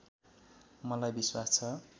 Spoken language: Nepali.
मलाई विश्वास छ